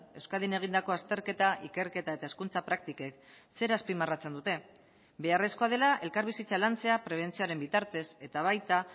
euskadin egindako azterketa ikerketa eta hezkuntza praktikek zer azpimarratzen dute beharrezkoa dela elkarbizitza lantzea prebentzioaren bitartez eta baita